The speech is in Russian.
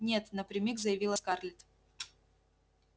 нет напрямик заявила скарлетт